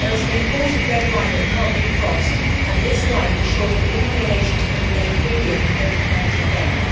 There is an important red line that cannot be crossed and this line ensures that living donations can be made freely and with no financial gain.